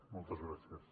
moltes gràcies